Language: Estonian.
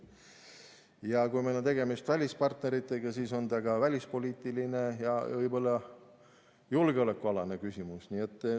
Ja kui meil on tegemist välispartneritega, siis on ta ka välispoliitiline ja võib-olla julgeolekualane küsimus.